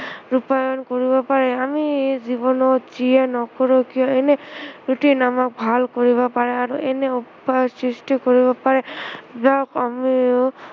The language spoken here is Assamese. ৰূপায়ণ কৰিব পাৰে, আমি জীৱনত যিয়ে নকৰো কিয় এনে routine আমাক ভাল কৰিব পাৰে আৰু এনে উপায় সৃষ্টি কৰিব পাৰে যাক আমি